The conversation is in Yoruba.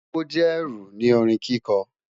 O jẹ ẹru ni orin kiko